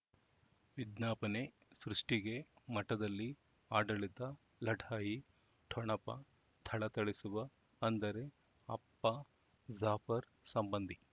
ವಿಜ್ಞಾಪನೆ ಸೃಷ್ಟಿಗೆ ಮಠದಲ್ಲಿ ಆಡಳಿತ ಲಢಾಯಿ ಠೊಣಪ ಥಳಥಳಿಸುವ ಅಂದರೆ ಅಪ್ಪ ಜಾಫರ್ ಸಂಬಂಧಿ